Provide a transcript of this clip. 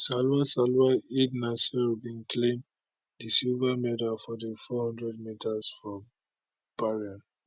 salwa salwa eid naser bin claim di silver medal for di women 400 metres for bahrain